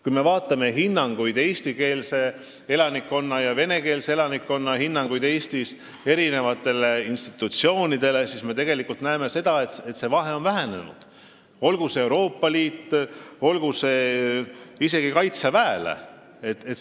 Kui me vaatame eestikeelse ja venekeelse elanikkonna hinnanguid eri institutsioonidele Eestis, siis me näeme, et vahe usalduses on vähenenud, olgu Euroopa Liidu või isegi Kaitseväe suhtes.